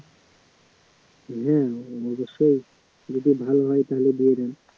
দেন অবশ্যই যদি ভাল হয় তালে দিয়ে দেন